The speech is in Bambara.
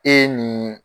E ye nin